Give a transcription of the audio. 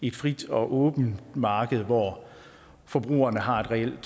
et frit og åbent marked hvor forbrugerne har et reelt